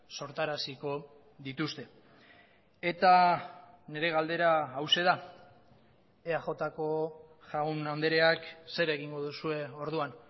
sortaraziko dituzte eta nire galdera hauxe da eaj ko jaun andreak zer egingo duzue orduan